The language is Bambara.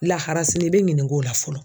Lahara sini i bɛ ɲinink'o la fɔlɔ.